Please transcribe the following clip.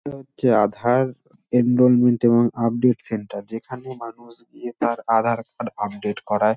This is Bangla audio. উঃ এইটা হচ্চে আধার এনরোলমেন্ট এবং আপডেট সেন্টার | যেখানে মানুষ গিয়ে তার আধার কার্ড আপডেট করাই |